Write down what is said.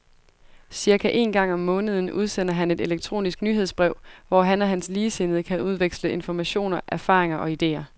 Cirka en gang om måneden udsender han et elektronisk nyhedsbrev, hvor han og hans ligesindede kan udveksle informationer, erfaringer og idéer